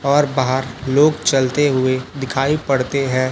और बाहर लोग चलते हुए दिखाई पड़ते हैं।